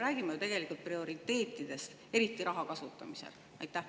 Me räägime ju tegelikult prioriteetidest, eriti raha kasutamisel.